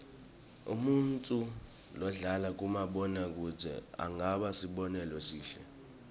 umuntfu lodlala kumabona kudze angaba sibonelo lesihle